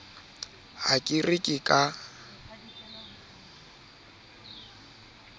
ha ke re ke ka